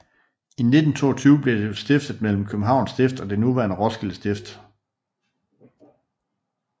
I 1922 blev stiftet delt mellem Københavns Stift og det nuværende Roskilde Stift